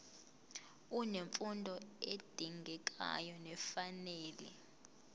unemfundo edingekayo nefanele